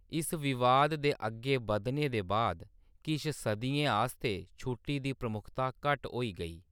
इस विवाद दे अग्गें बधने दे बाद, किश सदियें आस्तै छुट्टी दी प्रमुखता घट्ट होई गेई।